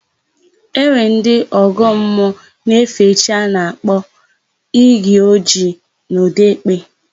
E nwere ndị ọgọ mmụọ na-efe chi a na-akpọ Iyi Ojii n'Ọdekpe.